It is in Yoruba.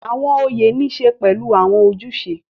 Awọn oyé ni ń ṣe pẹlu awọn ojuse